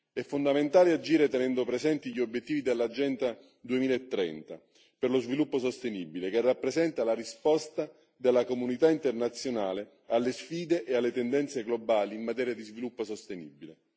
È fondamentale agire tenendo presenti gli obiettivi dell'agenda 2030 per lo sviluppo sostenibile, che rappresenta la risposta della comunità internazionale alle sfide e alle tendenze globali in materia di sviluppo sostenibile.